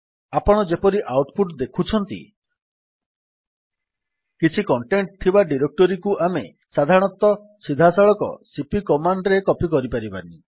ଆପଣ ଯେପରି output ଦେଖୁଛନ୍ତି କିଛି କଣ୍ଟେଣ୍ଟ୍ ଥିବା ଡିରେକ୍ଟୋରୀକୁ ଆମେ ସାଧାରଣତଃ ସିଧାସଳଖ ସିପି କମାଣ୍ଡ୍ ରେ କପୀ କରିପାରିବାନି